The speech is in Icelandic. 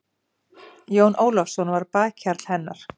Jón Ólafsson var bakhjarl hennar.